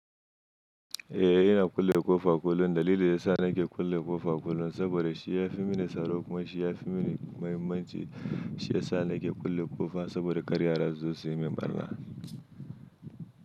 Eh ina kulle ƙofa kullum, dalilin da ya sa nake kulle ƙofa kullum saboda shi ya fi mini tsaro kuma shi ya fi mini muhimmanci. Shi ya sa nake kulle ƙofa saboda kar yara su zo su yi min ɓarna.